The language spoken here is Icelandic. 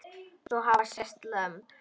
Svo hafa sést lömb.